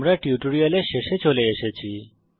আমরা এই টিউটোরিয়ালের শেষে চলে এসেছি